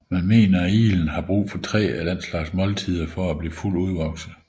Man mener iglen har brug for tre af den slags måltider for at blive fuldt udvokset